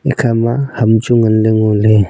ekhama ham chu nganley ngoley.